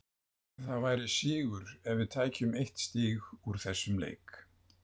Það væri sigur ef við tækjum eitt stig úr þessum leik.